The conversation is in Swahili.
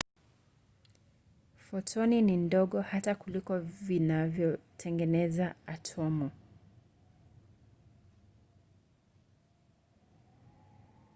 fotoni ni ndogo hata kuliko vitu vinavyotengeneza atomu!